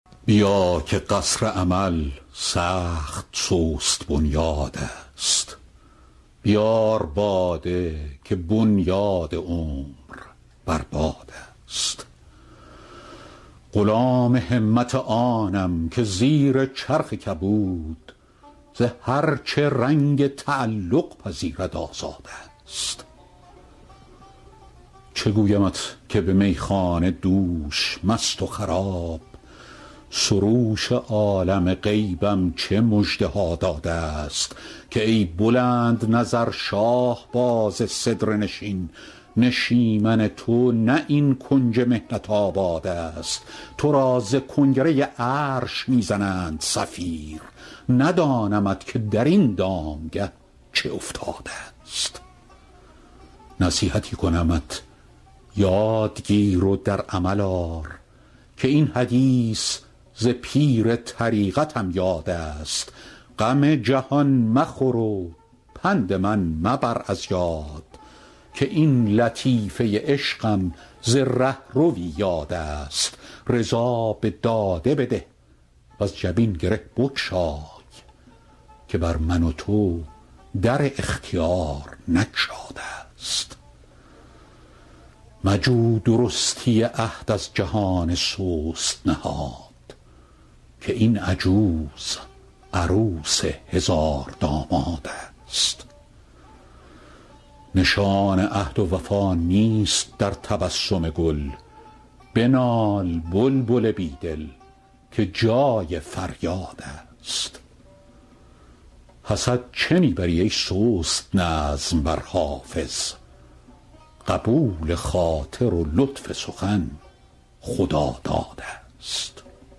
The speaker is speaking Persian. بیا که قصر امل سخت سست بنیادست بیار باده که بنیاد عمر بر بادست غلام همت آنم که زیر چرخ کبود ز هر چه رنگ تعلق پذیرد آزادست چه گویمت که به میخانه دوش مست و خراب سروش عالم غیبم چه مژده ها دادست که ای بلندنظر شاهباز سدره نشین نشیمن تو نه این کنج محنت آبادست تو را ز کنگره عرش می زنند صفیر ندانمت که در این دامگه چه افتادست نصیحتی کنمت یاد گیر و در عمل آر که این حدیث ز پیر طریقتم یادست غم جهان مخور و پند من مبر از یاد که این لطیفه عشقم ز رهروی یادست رضا به داده بده وز جبین گره بگشای که بر من و تو در اختیار نگشادست مجو درستی عهد از جهان سست نهاد که این عجوز عروس هزاردامادست نشان عهد و وفا نیست در تبسم گل بنال بلبل بی دل که جای فریادست حسد چه می بری ای سست نظم بر حافظ قبول خاطر و لطف سخن خدادادست